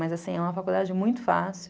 Mas assim, é uma faculdade muito fácil.